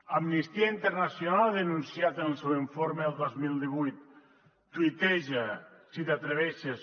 amnistia internacional ha denunciat en el seu informe el dos mil divuit tuiteja si t’hi atreveixes